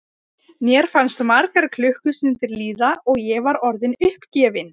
Mér fannst margar klukkustundir líða og ég var orðin uppgefin.